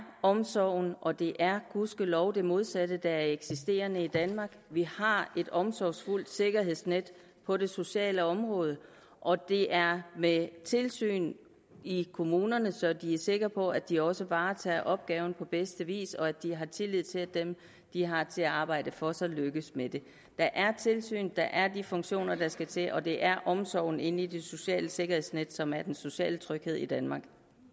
omsorgen og det er gudskelov det modsatte der eksisterer i danmark vi har et omsorgsfuldt sikkerhedsnet på det sociale område og det er med tilsyn i kommunerne så de er sikre på at de også varetager opgaven på bedste vis og at de kan have tillid til at dem de har til at arbejde for sig lykkes med det der er tilsyn der er de funktioner der skal til og det er omsorgen i det sociale sikkerhedsnet som er den sociale tryghed i danmark